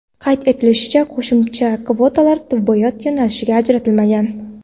Qayd etilishicha, qo‘shimcha kvotalar tibbiyot yo‘nalishiga ajratilmagan.